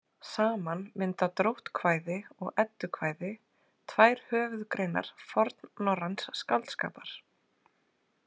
Saman mynda dróttkvæði og eddukvæði tvær höfuðgreinar fornorræns skáldskapar.